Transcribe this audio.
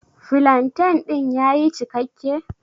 Flantain din ya yi cikakke?